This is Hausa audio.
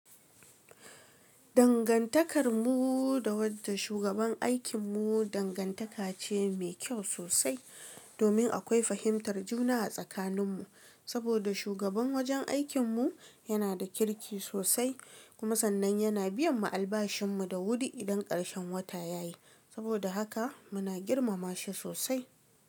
Dangantakar mu da wajen shugaban aikin mu dangantaka ce mai kyau sosai domin akwai fahimtar juna a tsakanin mu. Saboda shugaban wajen aikin mu yana da kirki sosai kuma sannan yana biyan mu albashin mu da wuri idan karshen wata ya yi. Saboda haka muna girmama shi sosai.